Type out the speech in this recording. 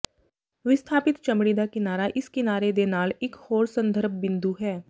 ਵਿਸਥਾਪਿਤ ਚਮੜੀ ਦਾ ਕਿਨਾਰਾ ਇਸ ਕਿਨਾਰੇ ਦੇ ਨਾਲ ਇੱਕ ਹੋਰ ਸੰਦਰਭ ਬਿੰਦੂ ਹੈ